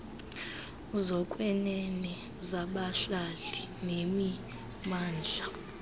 zokwenene zabahlali nemimandla